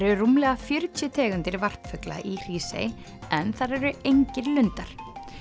eru rúmlega fjörutíu tegundir varpfugla í Hrísey en þar eru engir lundar